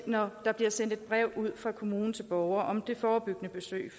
når der bliver sendt et brev ud fra kommunen til borgeren om det forebyggende besøg